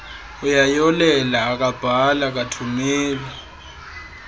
uyayolela akabhali akathumeli